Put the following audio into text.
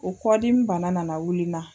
O kɔdimi bana nana wili n na!